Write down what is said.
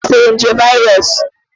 Kọmputa ahụ butere nje viros